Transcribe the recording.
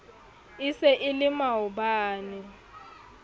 e se e le maobane